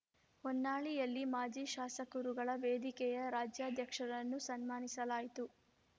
ಹೊನ್ನಾಳಿಯಲ್ಲಿ ಮಾಜಿ ಶಾಸಕರುಗಳ ವೇದಿಕೆಯ ರಾಜ್ಯಾಧ್ಯಕ್ಷರನ್ನು ಸನ್ಮಾನಿಸಲಾಯಿತು